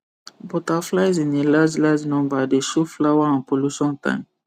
butterflies in a large large number dey show flower and pollution time